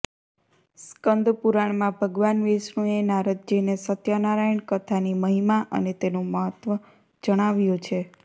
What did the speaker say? સ્કંદ પુરાણમાં ભગવાન વિષ્ણુએ નારદજીને સત્યનારાયણ કથાની મહિમા અને તેનું મહત્વ જણાવ્યું છે